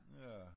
Ja